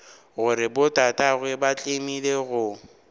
gore botatagwe ba tlemile go